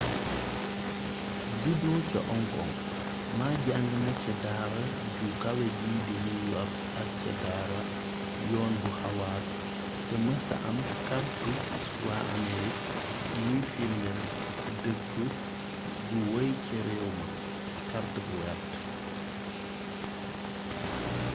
judo ca hong kong ma jàng na ca daara ju kawe ji ci new york ak ca daara yoon bu harvard te mesa am kartu waa amerig guy firndeel dëkk gu wey ca réew ma kàrt bu wert